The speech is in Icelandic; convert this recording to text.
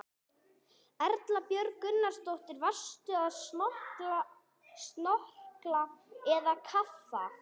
Erla Björg Gunnarsdóttir: Varstu að snorkla eða kafa?